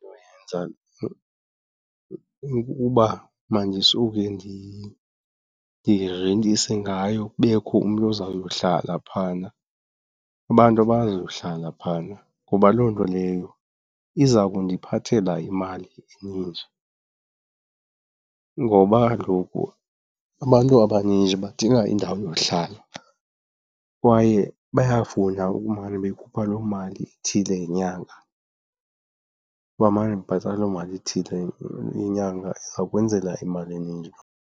Yenza ukuba mandisuke ndirentise ngayo kubekho umntu ozayohlala phayana, abantu abazohlala phayana ngoba loo nto leyo iza kundiphathela imali eninji. Ngoba kaloku abantu abaninji badinga indawo yohlala kwaye bayafuna ukumane bekhupha loo mali ithile ngenyanga, bamane bebhatala loo mali ithile yenyanga. Ingakwenzela imali eninji.